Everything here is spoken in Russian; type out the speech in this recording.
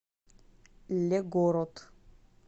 легород